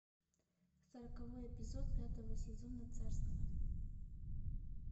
сороковой эпизод пятого сезона царство